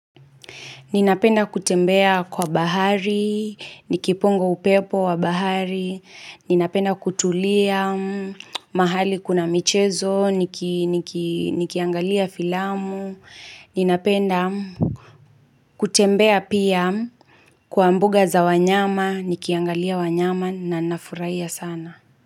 Ninapenda kutembea kwa bahari, nikipunga upepo wa bahari, ninapenda kutulia mahali kuna michezo, nikiangalia filamu, ninapenda kutembea pia kwa mbuga za wanyama, nikiangalia wanyama na nafurahia sana.